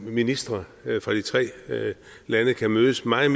ministre fra de tre lande kan mødes meget